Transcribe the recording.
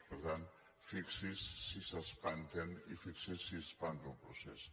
per tant fixi’s si s’espanten i fixi’s si espanta el procés